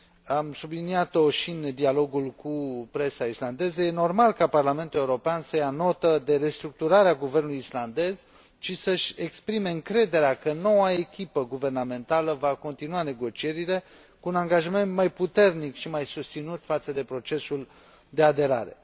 Am subliniat o și în dialogul cu presa islandeză este normal ca Parlamentul European să ia notă de restructurarea guvernului islandez și să își exprime încrederea că noua echipă guvernamentală va continua negocierile, cu un angajament mai puternic și mai susținut față de procesul de aderare.